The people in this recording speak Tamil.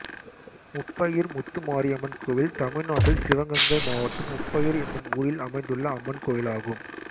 முப்பையூர் முத்து மாரியம்மன் கோயில் தமிழ்நாட்டில் சிவகங்கை மாவட்டம் முப்பையூர் என்னும் ஊரில் அமைந்துள்ள அம்மன் கோயிலாகும்